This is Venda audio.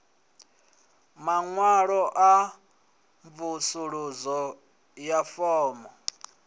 maṅwalo a mvusuludzo na fomo